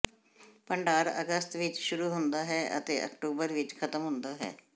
ਭੰਡਾਰ ਅਗਸਤ ਵਿਚ ਸ਼ੁਰੂ ਹੁੰਦਾ ਹੈ ਅਤੇ ਅਕਤੂਬਰ ਵਿੱਚ ਖਤਮ ਹੁੰਦਾ ਹੈ